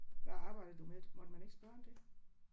Hvad arbejder du med? Måtte man ikke spørge om det?